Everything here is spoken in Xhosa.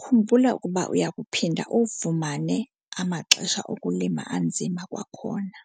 khumbula ukuba uya kuphinda uwafumane amaxesha okulima anzima kwakhona.